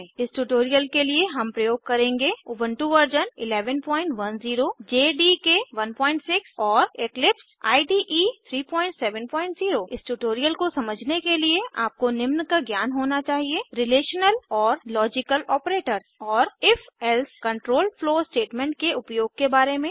इस ट्यूटोरियल के लिए हम प्रयोग करेंगे उबुंटू व 1110 जेडीके 16 और इक्लिपसाइड 370 इस ट्यूटोरियल को समझने के लिए आपको निम्न का ज्ञान होना चाहिए रिलेशनल और लॉजिकल ऑपरेटर्स और ifएल्से कंट्रोल फ्लो स्टेटमेंट्स के उपयोग के बारे में